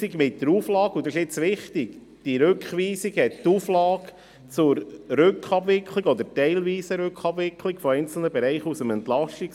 Wichtig ist, dass die Rückweisung die Auflage zur Rückabwicklung oder teilweisen Rückabwicklung einzelner Bereiche aus dem EP enthält.